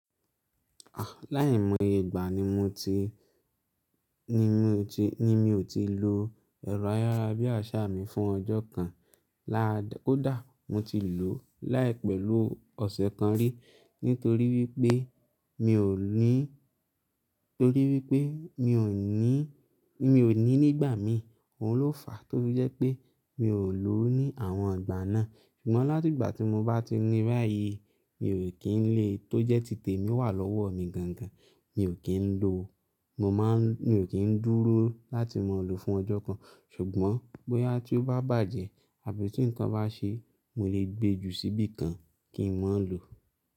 Láì mọye ìgbà ni mo ti, ni mi o ti, ni mi ò tí lo ẹ̀rọ ayárabíàṣá mi fún ọjọ́ kan lá, kó dà. Mo ti lò ó láì pẹ̀lú ọ̀sẹ̀ kan rí nítorí wípé mi ò ní, torí wípé mi ò ní, mi ò ní nígbà mí òun ló fà á torí jẹ́ pé mi ò lò ó ní àwọn ìgbà náà. Ṣùgbọ́n láti ìgbà tí mo bá ti ní bà yìí mi ò kín lè tó jẹ́ tìtẹ mi wà lọ́wọ́ mi gangan. Mi ò kín ń lò o, mo má ń, mi ò kín ń dúró láti mọ lò fún ọjọ́ kan. Ṣùgbọ́n bóyá tí ó bá bàjẹ́ àbí tí nǹkan bá ṣe mo le gbe jù sí bí kan kí n má lò o.